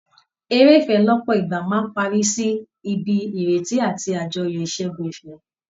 Eré ìfẹ́ lọ́pọ̀ ìgbà máa ń parí sí ibi ìrètí àti àjọyọ̀ ìṣẹ́gun ìfẹ́